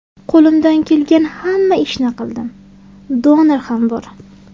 Qo‘limdan kelgan hamma ishni qildim, donor ham bor.